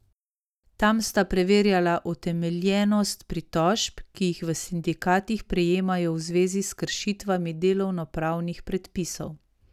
Tam sta preverjala utemeljenost pritožb, ki jih v sindikatih prejemajo v zvezi s kršitvami delovnopravnih predpisov.